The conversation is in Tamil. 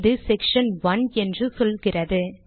இது செக்ஷன் 1 என்று சொல்கிறது